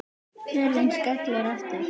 Hurðin skellur aftur.